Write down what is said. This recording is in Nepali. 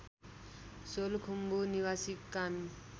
सोलुखुम्बु निवासी कामी